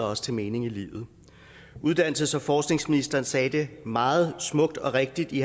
også til mening i livet uddannelses og forskningsministeren sagde det meget smukt og rigtigt i